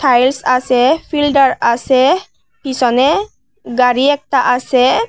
Tiles আসে filter আসে পিছনে গাড়ি একটা আসে।